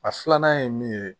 A filanan ye mun ye